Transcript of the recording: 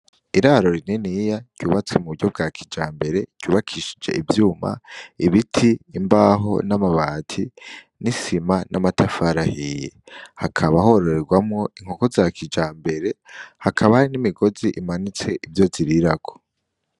Iraro rininiya ryubatse mu buryo bwa kijambere, ryubakishije ivyuma, ibiti, imbaho n'amabati, n'isima n'amatafari ahiye. Hakaba hororerwamwo inkoko za kijambere, hakaba hari n'imigozi imanitse ivyo zirirako.